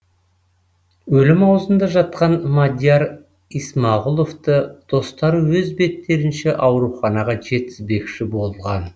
өлім аузында жатқан мадияр исмағұловты достары өз беттерінше ауруханаға жеткізбекші болған